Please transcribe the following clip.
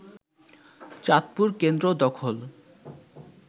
চাঁদপুর কেন্দ্র দখল